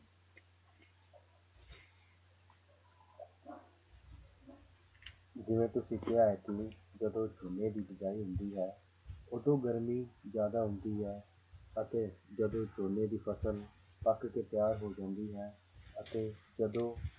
ਜਿਵੇਂ ਤੁਸੀਂ ਕਿਹਾ ਹੈ ਕਿ ਜਦੋਂ ਝੋਨੇ ਦੀ ਬੀਜਾਈ ਹੁੰਦੀ ਹੈ ਉਦੋਂ ਗਰਮੀ ਜ਼ਿਆਦਾ ਹੁੰਦੀ ਹੈ ਅਤੇ ਜਦੋਂ ਝੋਨੇ ਦੀ ਫ਼ਸਲ ਪੱਕ ਕੇ ਤਿਆਰ ਹੋ ਜਾਂਦੀ ਹੈ ਅਤੇ ਜਦੋਂ